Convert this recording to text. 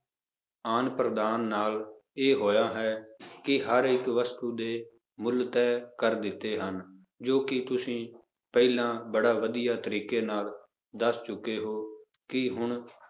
ਆਦਾਨ ਪ੍ਰਦਾਨ ਨਾਲ ਇਹ ਹੋਇਆ ਹੈ ਕਿ ਹਰ ਇੱਕ ਵਸਤੂ ਦੇ ਮੁੱਲ ਤੈਅ ਕਰ ਦਿੱਤੇ ਹਨ ਜੋ ਕਿ ਤੁਸੀਂ ਪਹਿਲਾਂ ਬੜਾ ਵਧੀਆ ਤਰੀਕੇ ਨਾਲ ਦੱਸ ਚੁੱਕੇ ਹੋ, ਕਿ ਹੁਣ